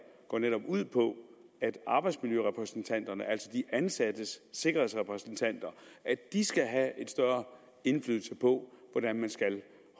går netop ud på at arbejdsmiljørepræsentanterne altså de ansattes sikkerhedsrepræsentanter skal have større indflydelse på hvordan man skal